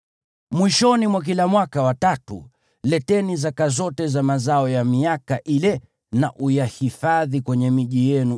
Mwishoni mwa kila mwaka wa tatu, leteni zaka zote za mazao ya miaka ile na uyahifadhi kwenye miji yenu,